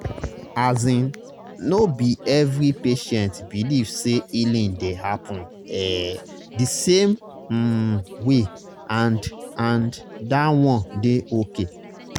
asin no be every patient believe say healing dey happen ehh di same um way and and that one dey okay